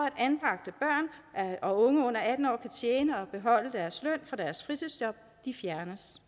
at og unge under atten år kan tjene og beholde deres løn for deres fritidsjob fjernes